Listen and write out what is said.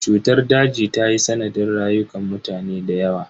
Cutar daji ta yi sanadin rayukan mutane da yawa.